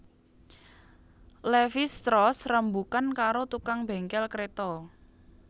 Levis strauss rembugan karo tukang bengkel kreta